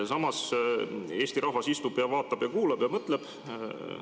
Samas, Eesti rahvas istub ja vaatab ja kuulab ja mõtleb.